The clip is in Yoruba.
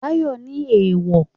Báyọ̀ ní éwo